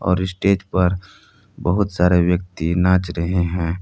और स्टेज पर बहुत सारे व्यक्ति नाच रहे हैं।